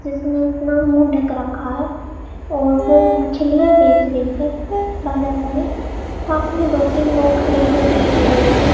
जिसने अपना मुंह देख रखा है और वो मछलियां बेच रही है बाजार में पास में दो तीन लोग खड़े है दिखाई दे रहे है।